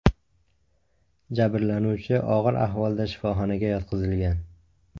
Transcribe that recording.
Jabrlanuvchi og‘ir ahvolda shifoxonaga yotqizilgan.